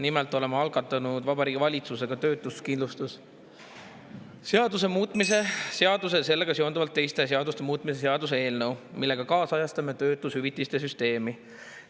Nimelt oleme algatanud Vabariigi Valitsusega töötuskindlustuse seaduse muutmise ja sellega seonduvalt teiste seaduste muutmise seaduse eelnõu, millega kaasajastame töötushüvitiste süsteemi.